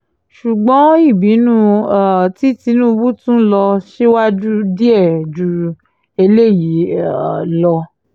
ṣùgbọ́n ìbínú um tí tìtúngbù tún lọ síwájú díẹ̀ ju eléyìí um lọ